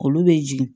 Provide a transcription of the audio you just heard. Olu bɛ jigin